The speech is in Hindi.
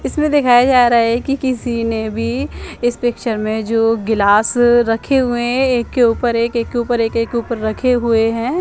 इसमे दिखाया जा रहा हैं की किसी ने भी इस पिक्चर में जो गिलास रखे हुए हैं एक के ऊपर एक एक के ऊपर एक ऊपर रखे हुए हैं।